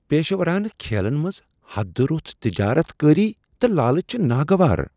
پیشورانہ کھیلن منز حدٕ رُس تجارت کٲری تہ لالچ چھےٚ ناگوار۔